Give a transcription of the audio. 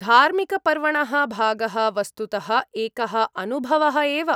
धार्मिकपर्वणः भागः वस्तुतः एकः अनुभवः एव।